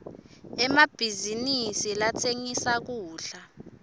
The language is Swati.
emabhizinisi latsengisa kudla